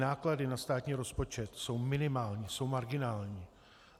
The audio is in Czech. Náklady na státní rozpočet jsou minimální, jsou marginální.